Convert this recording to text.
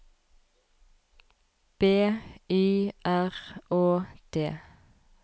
B Y R Å D